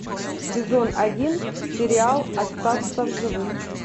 сезон один сериал остаться в живых